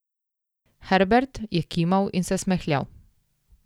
Herbert je kimal in se smehljal.